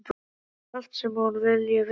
Henni verði sagt allt sem hún vilji vita.